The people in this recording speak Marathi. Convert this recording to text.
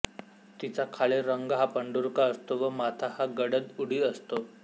तिचा खालील रंग हा पंढूरका असतो व माथा हा गडद उदी असतो